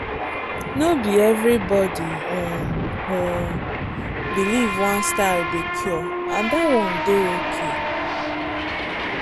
no be everybody um um believe one style dey cure and that one dey okay.